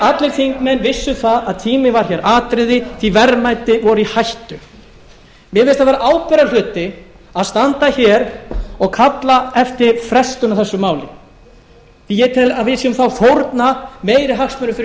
allir þingmenn vissu það að tíminn var hér atriði því verðmæti voru í hættu mér finnst það vera ábyrgðarhluti að standa hér og kalla eftir frestun á þessu máli því ég tel að við séum þá að fórna meiri hagsmunum